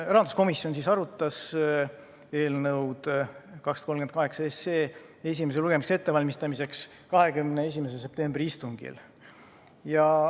Rahanduskomisjon arutas eelnõu 238 esimest lugemist ette valmistades 21. septembri istungil.